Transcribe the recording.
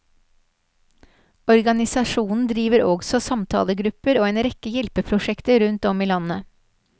Organisasjonen driver også samtalegrupper og en rekke hjelpeprosjekter rundt om i landet.